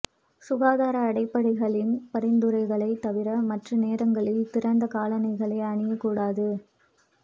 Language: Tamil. சுகாதார அடிப்படைகளின் பரிந்துரைகளைத் தவிர மற்ற நேரங்களில் திறந்த காலணிகளை அணியக்கூடாது